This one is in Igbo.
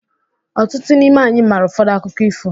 Ọtụtụ n'ime anyị maara ụfọdụ akụkọ ifo